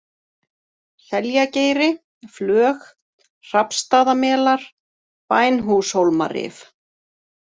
Seljageiri, Flög, Hrafnsstaðamelar, Bænhúshólmarif